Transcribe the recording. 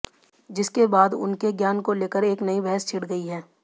जिसके बाद उनके ज्ञान को लेकर एक नई बहस छिड़ गई है